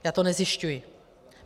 Já to nezjišťuji.